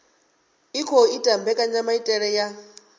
i khou ita mbekanyamaitele ya